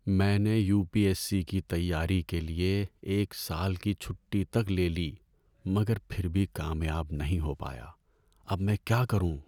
میں نے U P S C کی تیاری کے لیے ایک سال کی چھٹی تک لے لی مگر پھر بھی کامیاب نہیں ہو پایا۔ اب میں کیا کروں؟